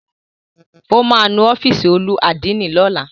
Ó máa nu ọ́fìsì olú àdínì lọ́la.